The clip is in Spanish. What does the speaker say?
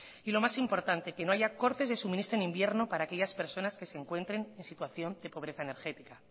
y lo más importante que no haya cortes de suministro en invierno para aquellas personas que se encuentren en situación de pobreza energética